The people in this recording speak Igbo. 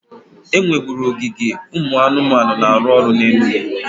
E nweburu ogige ụmụ anụmanụ na-arụ ọrụ na Enugwu